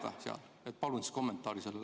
Palun selle kohta kommentaari!